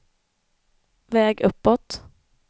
väg uppåt